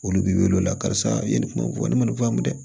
Olu bi wele o la karisa i ye ne kuma fɔ ne ma ne faamu dɛ